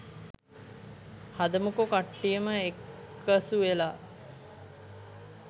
හදමුකෝ කට්ටියම එක්කසුවෙලා